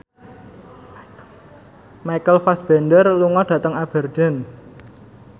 Michael Fassbender lunga dhateng Aberdeen